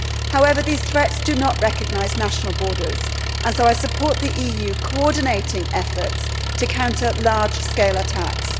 However, these threats do not recognise national borders, and so I support the EU coordinating efforts to counter large scale attacks.